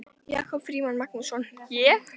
Jakob Frímann Magnússon: Ég?